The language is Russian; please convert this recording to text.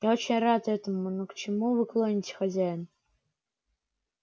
я очень рад этому но к чему вы клоните хозяин